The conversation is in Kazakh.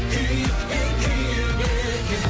күйік те күйік екен